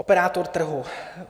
Operátor trhu.